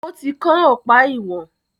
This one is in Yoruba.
ó ti kán ọ̀pá ìwọ̀n.